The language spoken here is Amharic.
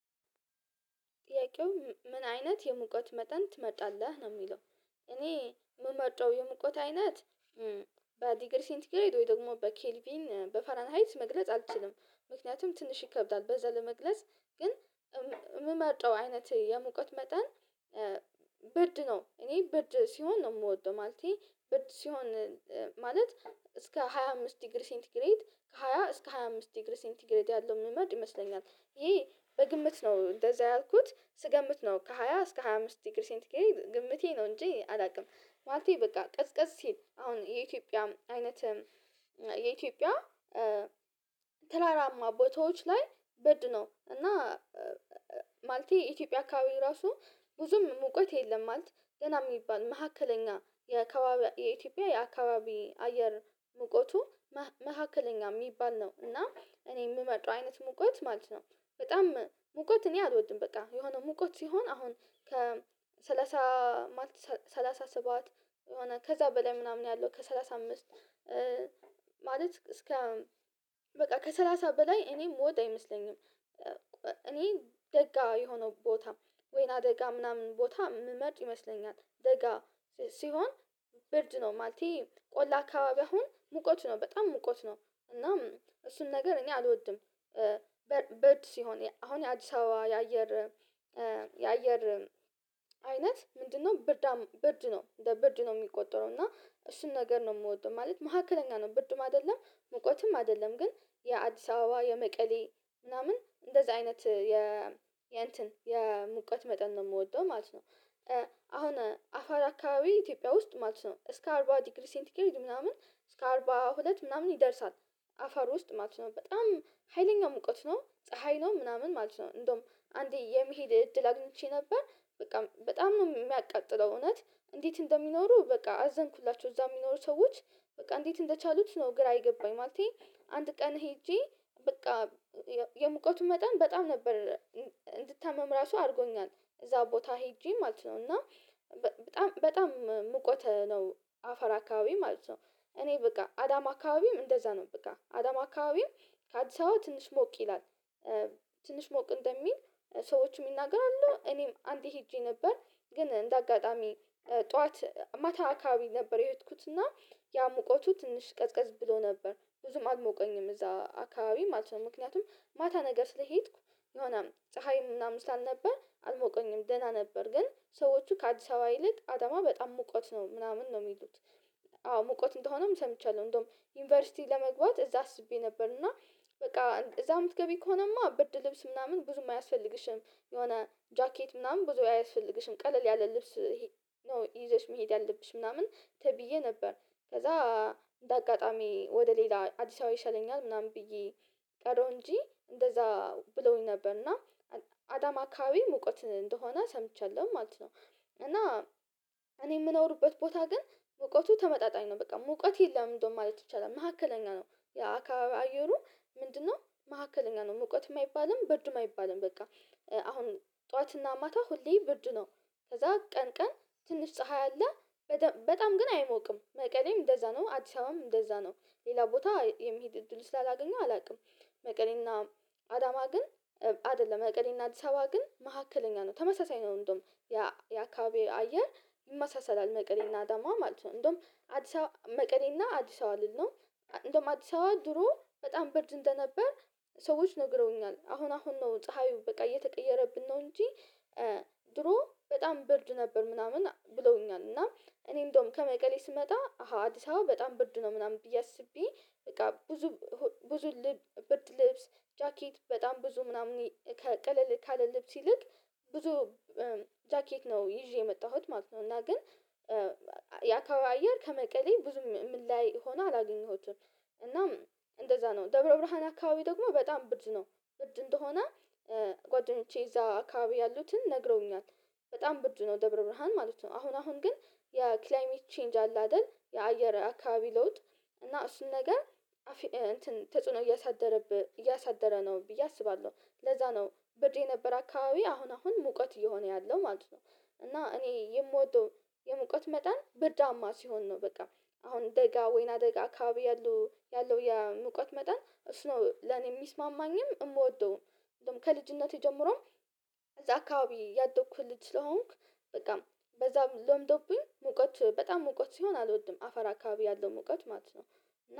ጥያቄው ምን አይነት የሙቀት መጠን ትመርጣለህ ነው የሚለው? እኔ የምመርጠው የሙቀት አይነት በዲግሪ ሴንት ግሬድ ወይም ደግሞ በኬልቪን በፈራንሃይት መግለጽ አልችልም ምክንያቱም ትንሽ ይከብዳል በዛ ለመግለጽ ግን የምመርጠው አይነት የሙቀት መጠን። ብርድ ነው እኔ ብርድ ሲሆን ነው የምወደው። ማለቴ ብርድ ሲሆን ማለት እስከ ሃያ አምስት ዲግሪ ሴንት ግሬድ ከሃያ እስከ ሃያ አምስት ዲግሪ ሴንት ግሬድ ያለውን እምመርጥ ይመስለኛል። ይሄ በግምት ነው እንደዛ ያልኩት ስገምት ነው ከሃያ እስከ ሃያ አምስት ዲግሪ ሴንት ግሬድ ግምቴ ነው እንጂ አላውቅም። ማለቴ በቃ ቅዝቅዝ ሲል አሁን የኢትዮጵያ አይነት የኢትዮጵያ ተራራማ ቦታዎች ላይ ብርድ ነው። እና ማለቴ የኢትዮጵያ አካባቢ ራሱ ብዙም ሙቀት የለም ማለት ደና የሚባል መካከለኛ የአከባቢ የኢትዮጵያ የአከባቢ አየር ሙቆቱ መካከለኛ የሚባል ነው። እና እኔ የምመርጠው አይነት ሙቀት ማለት ነው። በጣም ሙቀት እኔ አልወድም በቃ የሆነ ሙቀት ሲሆን አሁን ከሰላሳ ማለት ሰላሳ ሰባት የሆነ ከዛ በላይ ምናምን ያለው ከ ሰላሳ አምስት ማለት እስከ በቃ ከሰላሳ በላይ እኔ እምወድ አይመስለኝም። እኔ ደጋ የሆነው ቦታ ወይና ደጋ ምናምን ቦታ እምመርጥ ይመስለኛል። ደጋ ሲሆን ብርድ ነው ማለት ቆላ አካባቢ አሁን ሙቀት ነው በጣም ሙቀት ነው እና እሱን ነገር እኔ አልወድም። ብርድ ሲሆን አሁን የአዲስ አበባ የአየር የአየር አይነት ምንድነው? ብርድ ነው እንደ ብርድ ነው የሚቆጠረው እና እሱን ነገር ነው የምወደው። ማለት መካከለኛ ነው ብርድም አይደለም ሙቀትም አይደለም። ግን የአዲስ አበባ የመቀሌ ምናምን እንደዚህ አይነት የ የእንትን የሙቀት መጠን ነው የምወደው ማለት ነው። አሁን አፋር አካባቢ ኢትዮጵያ ውስጥ ማለት ነው እስከ አርባ ዲግሪ ሴንቲግሬድ ምናምን እስከ አርባ ሁለት ምናምን ይደርሳል። አፋር ውስጥ ማለት ነው በጣም ሀይለኛ ሙቀት ነው ፀሀይ ነው ምናምን ማለት ነው። እንደውም አንዴ የመሄድ እድል አግኝቼ ነበር በቃ በጣም ነው የሚያቃጥለው። እውነት እንዴት እንደሚኖሩ በቃ አዘንኩላቸው እዛ የሚኖሩ ሰዎች በቃ እንዴት እንደቻሉት ነው ግራ የገባኝ። ማለቴ አንድ ቀን ሄጄ በቃ የሙቀቱ መጠን በጣም ነበር እንድታመም ራሱ አድርጎኛል። እዛ ቦታ ሄጄ ማለት ነው እና በጣም በጣም ሙቀት ነው። አፋር አካባቢ ማለት ነው እኔ በቃ አዳማ አካባቢም እንደዛ ነው በቃ አዳማ አከባቢም ከአዲስ አበባ ትንሽ ሞቅ ይላል። ትንሽ ሞቅ እንደሚል ሰዎችም ይናገራሉ እኔም አንዴ ሄጄ ነበር። ግን እንደ አጋጣሚ ጠዋት ማታ አካባቢ ነበር የሄድኩት እና ያ ሙቀቱ ትንሽ ቀዝቀዝ ብሎ ነበር ብዙም አልሞቀኝም እዛ አካባቢ ማለት ነው ምክንያቱም ማታ ነገር ስለሄድኩ የሆነ ፀሀይም ምናምን ስላልነበር አልሞቀኝም ደህና ነበር ግን ሰዎቹ ከአዲስ አበባ ይልቅ አዳማ በጣም ሙቀት ነው ምናምን ነው የሚሉት። አዎ ሙቀት እንደሆነም ሰምቻለሁ እንደውም ዩኒቨርሲቲ ለመግባት እዛ አስቤ ነበር እና በቃ እዛ የምትገቢ ከሆነማ ብርድ ልብስ ምናምን ብዙም አያስፈልግሽም። የሆነ ጃኬት ምናምን ብዙ አያስፈልግሽም ቀለል ያለ ልብስ ይዘሽ መሄድ ያለብሽ ምናምን ተብዬ ነበር። ከዛ እንደ አጋጣሚ ወደ ሌላ አዲስ አበባ ይሻለኛል ምናምን ብዬ ቀረው እንጂ እንደዛ ብለውኝ ነበር እና አዳማ አከባቢ ሙቀት እንደሆነ ሰምቻለሁ ማለት ነው። እና እኔ የምኖርበት ቦታ ግን ሙቀቱ ተመጣጣኝ ነው በቃ ሙቀት የለም እንደውም ማለት ይቻላል መካከለኛ ነው። የአካባቢ አየሩ ምንድነው? መካከለኛ ነው ሙቀትም አይባልም ብርድም አይባልም በቃ አሁን ጠዋትና ማታ ሁሌ ብርድ ነው። ከዛ ቀን ቀን ትንሽ ፀሀይ አለ። በጣም ግን አይሞቅም መቀሌም እንደዛ ነው አዲስ አበባም እንደዛ ነው። ሌላ ቦታ የመሄድ እድል ስላላገኘው አላውቅም። መቀሌና አዳማ ግን አይደለም መቀሌና አዲስ አበባ ግን መካከለኛ ነው ተመሳሳይ ነው። እንደውም የአካባቢ አየር ይመሳሰላል መቀሌና አዳማ ማለት ነው እንደውም አዲስ መቀሌና አዲስ አበባ ልል ነው። እንደውም አዲስ አበባ ድሮ በጣም ብርድ እንደነበር ሰዎች ነግረውኛል አሁን አሁን ነው ፀሀዩ በቃ እየተቀየረብን ነው እንጂ። ድሮ በጣም ብርድ ነበር ምናምን ብለውኛል እና እኔ እንደውም ከመቀሌ ስመጣ አሃ አዲስ አበባ በጣም ብርድ ነው ምናምን ብዬ አስቤ። በቃ ብዙ ብዙ ብርድ ልብስ ጃኬት በጣም ብዙ ምናምን ከ ቀለል ካለ ልብስ ይልቅ ብዙ ጃኬት ነው ይዤ የመጣሁት ማለት ነው። እና ግን የአከባቢው አየር ከመቀሌ ብዙም የሚላያይ ሆኖ አላገኘሁትም። እናም እንደዛ ነው ደብረ ብርሃን አካባቢ ደግሞ በጣም ብርድ ነው። ብርድ እንደሆነ ጓደኞቼ እዛ አካባቢ ያሉትን ነግረውኛል። በጣም ብርድ ነው ደብረ ብርሃን ማለት ነው። አሁን አሁን ግን የ ክላይሜት ቼንጅ አለ አይደል የአየር አካባቢ ለውጥ እና እሱን ነገር እንትን ተጽዕኖ እያሳደረበ እያሳደረ ነው ብዬ አስባለሁ ለዛ ነው። ብርድ የነበረ አካባቢ አሁን አሁን ሙቀት እየሆነ ያለው ማለት ነው። እና እኔ የምወደው የሙቀት መጠን ብርዳማ ሲሆን ነው በቃ አሁን ደጋ ወይናደጋ አካባቢ ያለው ያለው የሙቀት መጠን እሱ ነው ለኔ የሚስማማኝም የምወደውም። እንደውም ከልጅነቴ ጀምሮም እዛ አከባቢ ያደኩ ልጅ ስለሆንኩ በቃ በዛ ለምዶብኝ ሙቀት በጣም ሙቀት ሲሆን አልወድም አፋር አከባቢ ያለው ሙቀት ማለት ነው።